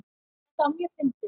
Þetta var mjög fyndið.